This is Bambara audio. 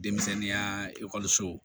Denmisɛnninya ekɔlisow